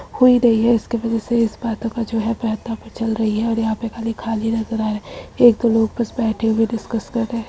हो ही रही है उसकी वजह से इस बातों का जो है चल रही है और यहाँ पे खाली खाली नजर आ रहा है एक दो लोग बस बैठे हुए डिस्कस कर रहे हैं ।